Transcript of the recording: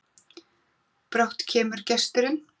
Brátt kemur gesturinn,